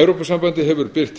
evrópusambandið hefur birt